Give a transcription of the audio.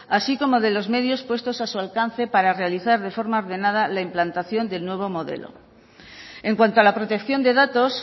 así como de los medios puestos a su alcance para realizar de forma ordenada la implantación del nuevo modelo en cuanto a la protección de datos